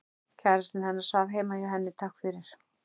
Kærastinn hennar svaf heima hjá henni, takk fyrir